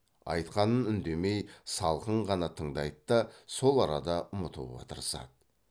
айтқанын үндемей салқын ғана тыңдайды да сол арада ұмытуға тырысады